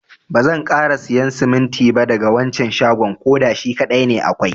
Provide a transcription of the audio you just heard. Bazan kara siyan siminti ba daga wancan shagon. koda shi kadai ne akwai.